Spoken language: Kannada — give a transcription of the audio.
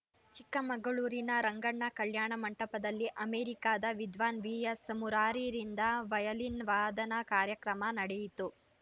ಚಿಕ್ಕಮಗಳೂರಿನ ರಂಗಣ್ಣ ಕಲ್ಯಾಣ ಮಂಟಪದಲ್ಲಿ ಅಮೆರಿಕಾದ ವಿದ್ವಾನ್‌ ವಿಎಸ್‌ ಮುರಾರಿರಿಂದ ವಯಲಿನ್‌ ವಾದನ ಕಾರ್ಯಕ್ರಮ ನಡೆಯಿತು